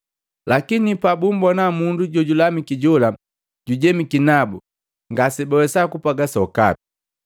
Lakini pabumbona mundu jojulamiki jola jujemiki nabu, ngase bawesaa kupwaga sokape.